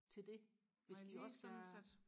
til det hvis de også skal